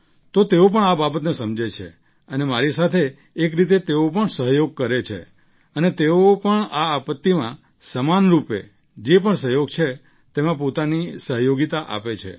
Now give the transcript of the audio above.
તો તેઓ પણ આ બાબતને સમજે છે અને મારી સાથે એક રીતે તેઓ પણ સહયોગ કરે છે અને તેઓ પણ આ આપત્તિમાં સમાન રૂપે જે પણ સહયોગ છે તેમાં પોતાની સહયોગિતા આપે છે